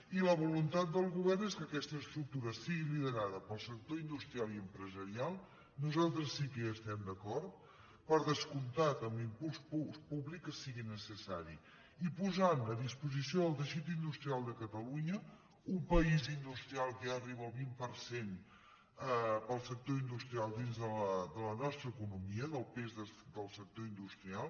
i la voluntat del go·vern és que aquesta estructura sigui liderada pel sec·tor industrial i empresarial nosaltres sí que hi estem d’acord per descomptat amb l’impuls públic que si·gui necessari i posant a disposició del teixit industrial de catalunya un país industrial que ja arriba al vint per cent per al sector industrial dins de la nostra econo·mia del pes del sector industrial